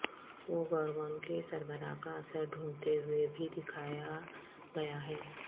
وہ گورگون کے سربراہ کا اثر ڈھونڈتے ہوئے بھی دکھایا گیا ہے